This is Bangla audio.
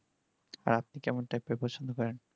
আর আপনি কেমন type এর পছন্দ করেন